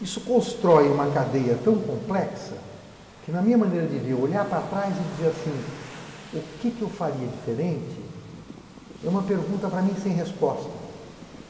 Isso constrói uma cadeia tão complexa que, na minha maneira de ver, olhar para trás e dizer assim, o que eu faria diferente, é uma pergunta para mim sem resposta.